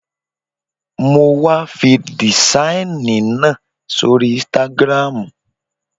Mo was fi dìsáìnì náà sóri ínstágrámù